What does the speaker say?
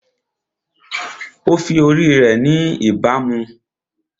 Ó fi ori rẹ̀ ni ìbámu